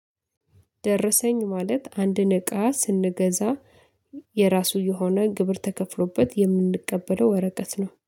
ደረሰኝ ማለት አንድን እቃ ስንገዛ የራሱ የሆነ ግብር ተከፍሎበት የምንቀበለው ወረቀት ነው